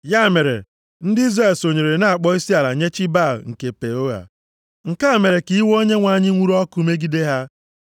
Ya mere, ndị Izrel sonyere na-akpọ isiala nye chi Baal nke Peoa. + 25:3 Ha sitere nʼịkpọ isiala kekọta onwe ha nʼahụ Baal-Peoa. Nke a mere ka iwe Onyenwe anyị nwuru ọkụ megide ha.